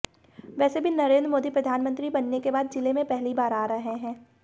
वैसे भी नरेंद्र मोदी प्रधानमंत्री बनने के बाद जिले में पहली बार आ रहे हैं